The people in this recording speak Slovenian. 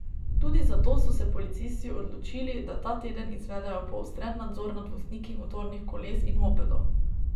Tudi zato so se policisti odločili, da ta teden izvedejo poostren nadzor nad vozniki motornih koles in mopedov.